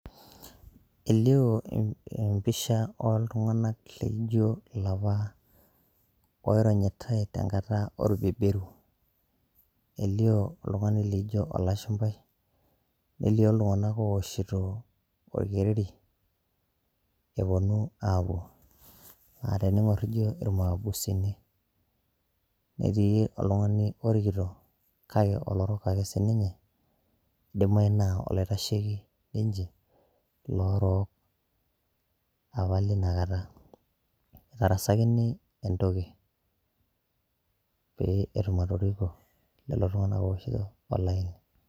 Elio empisha oltung'anak laijo ilapa oironyitai tenkata orbeberu. Elio oltung'ani laijo olashumpai, nelio iltung'anak owoshito orkereri, eponu apuo. Na tening'or naijo irmaabusini. Netii oltung'ani orikito, kake olorok ake sininye, idimayu naa oloitasheki ninche iloorok, apa lina kata. Itarasakini entoki, pee etum atoriko lelo tung'anak ooshito olaini.